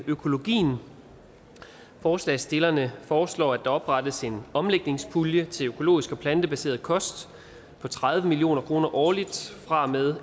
økologien forslagsstillerne foreslår at der oprettes en omlægningspulje til økologisk og plantebaseret kost på tredive million kroner årligt fra og med